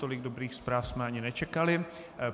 Tolik dobrých zpráv jsme ani nečekali.